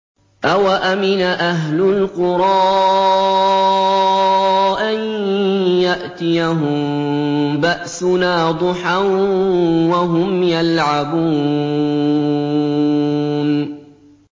أَوَأَمِنَ أَهْلُ الْقُرَىٰ أَن يَأْتِيَهُم بَأْسُنَا ضُحًى وَهُمْ يَلْعَبُونَ